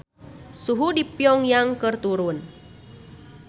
Suhu di Pyong Yang keur turun